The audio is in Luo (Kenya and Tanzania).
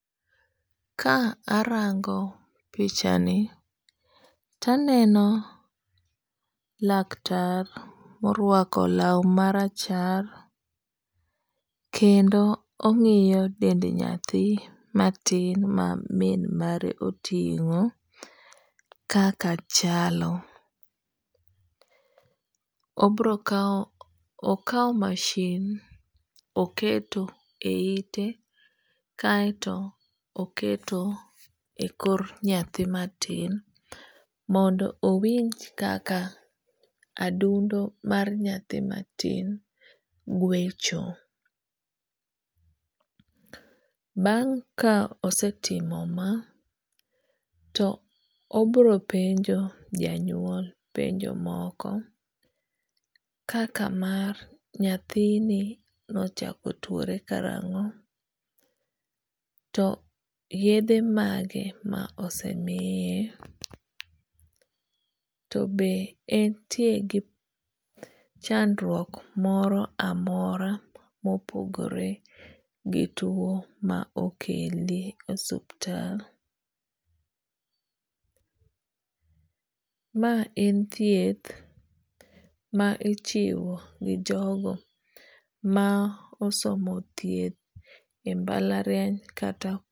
Ka arango pichani to aneno laktar morwako law ma rachar kendo ong'iyo dend nyathi matin ma min mare oting'o kaka chalo. Obro kawo okaw masin oketo e ite kaeto oketo e kor nyathi matin mondo owinj kaka adundo mar nyathi matin gwecho. Bang' ka osetimo ma to obiro penjo janyuol penjo moko kaka mar nyathini nochako tuore karang'o?. To yedhe mage ma ose miye?. To be entie gi chandruok moro amora mopogore gi tuo ma okele e osuptal? Ma en thieth ma ichiwo gi jogo ma osomo thieth e mbalariany kata.